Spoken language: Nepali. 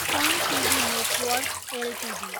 sun TV network Ltd